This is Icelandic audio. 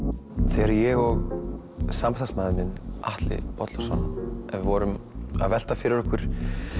þegar ég og samstarfsmaður minn Atli Bollason vorum að velta fyrir okkur